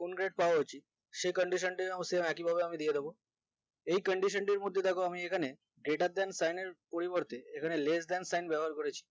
কোন grade দেওয়া উচিত সে condition same একই ভাবে একমি দিয়ে দিবো এই condition তীর মধ্যে দেখো আমি এখানে greater than পরিবর্তে এখানে less than sign ব্যবহার করেছি